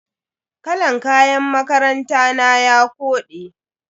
Kalan kayan makaranta na ya kode.